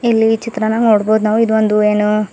ಇಲ್ಲಿ ಚಿತ್ರನಾಗ್ ನೋಡ್ಬೋದ್ ನಾವು ಇದು ಒಂದು ಏನೋ--